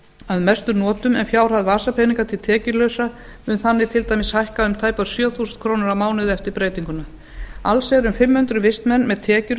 að mestum notum en fjárhæð vasapeninga til tekjulausra mun þannig til dæmis hækka um tæpar sjö þúsund krónur á mánuði eftir breytinguna alls eru um fimm hundruð vistmenn með tekjur